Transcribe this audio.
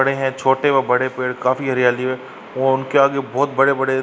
बड़े हैं छोटे व बड़े पेड़। काफी हरयाली है और उनके आगे बहोत बड़े-बड़े --